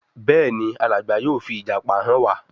Béèni Alàgbà yóò fi ìjàpá hàn wá.